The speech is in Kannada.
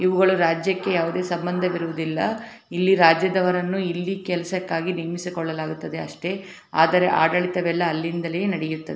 ಇವುಗಳು ರಾಜ್ಯಕ್ಕೆ ಯಾವುದೇ ಸಂಬಂಧ ಇರುವುದಿಲ್ಲ ಇಲ್ಲಿ ರಾಜ್ಯದವರನ್ನು ಇಲ್ಲಿ ಕೆಲಸಕ್ಕಾಗಿ ಇಲ್ಲಿ ನೇಮಿಸಿಕೊಳ್ಳಲಾಗುತ್ತದೆ ಅಷ್ಟೇ ಆದರೆ ಆಡಳಿತವೆಲ್ಲಾ ಅಲ್ಲಿಂದಲೇ ನಡೆಯುತ್ತದೆ.